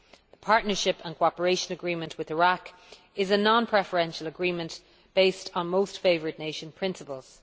The Partnership and Cooperation Agreement with Iraq is a non preferential agreement based on most favoured nation principles.